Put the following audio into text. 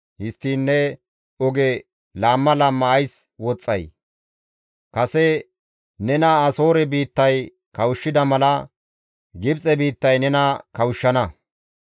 Histtiin ne oge laamma laamma ays woxxay? Kase nena Asoore biittay kawushshida mala Gibxe biittay nena kawushshana.